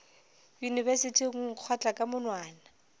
yunibesithing o nkgotla ka monwana